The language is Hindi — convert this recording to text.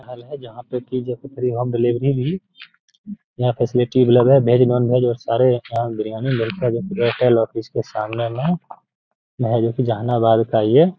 हल है.जहां पर की जो कि फ्री होम डिलीवरी भी यहाँ पे भेज नॉन वेज और सारे बिरयानी एयरटेल ऑफिस के सामने जहानाबाद का ये --